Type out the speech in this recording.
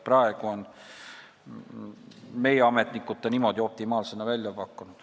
Praegu on meie ametnikud selle pargi niimoodi optimaalsena välja pakkunud.